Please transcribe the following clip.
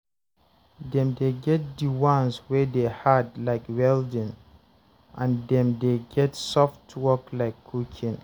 dem dey get di ones wey dey hard like welding and dem dey get soft work like cooking